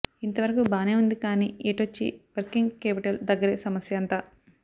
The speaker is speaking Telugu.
ఇంతవరకు బానే ఉంది కానీ ఎటొచ్చీ వర్కింగ్ కేపిటల్ దగ్గరే సమస్యంతా